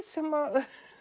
sem